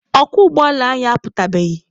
Ọkwọ ụgbọala anyị aputabeghị.